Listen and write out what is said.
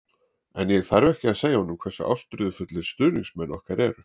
En ég þarf ekki að segja honum hversu ástríðufullir stuðningsmenn okkar eru.